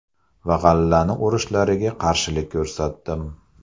Va g‘allani o‘rishlariga qarshilik ko‘rsatdim.